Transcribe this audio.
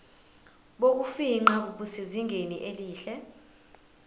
bokufingqa busezingeni elihle